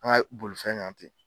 An ka bolifɛn kan ten.